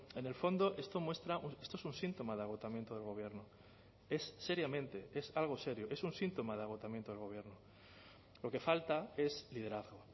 en el fondo esto muestra esto es un síntoma de agotamiento del gobierno es seriamente es algo serio es un síntoma de agotamiento del gobierno lo que falta es liderazgo